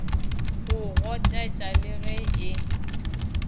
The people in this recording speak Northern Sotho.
go gotetša le ge e